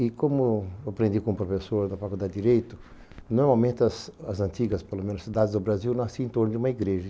E como eu aprendi com o professor da Faculdade de Direito, normalmente as as antigas, pelo menos, cidades do Brasil nasciam em torno de uma igreja.